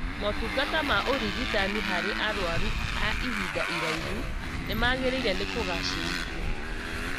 Motungata ma ũrigitani harĩ arwaru a ihinda irahu nĩmagĩrĩire nĩ kũgacĩrithio